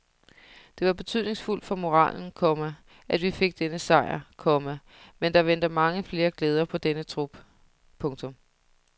Det var betydningsfuldt for moralen, komma at vi fik denne sejr, komma men der venter mange flere glæder på denne trup. punktum